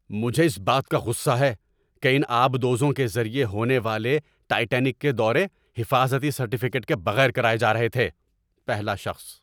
مجھے اس بات کا غصہ ہے کہ ان آبدوزوں کے ذریعے ہونے والے ٹائٹینک کے دورے حفاظتی سرٹیفکیٹ کے بغیر کرائے جا رہے تھے۔ (پہلا شخص)